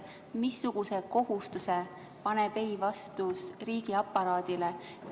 Missuguse kohustuse paneb ei-vastus riigiaparaadile?